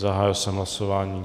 Zahájil jsem hlasování.